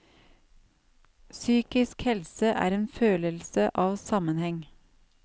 Psykisk helse er en følelse av sammenheng.